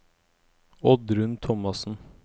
Oddrun Thomassen